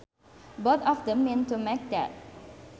Both of them mean to make dead